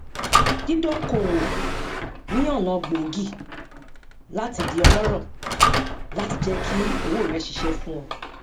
dídókòwò ni ọnà gbòógì láti di ọlọrọ láti jẹ kí owó rẹ ṣiṣẹ fún ọ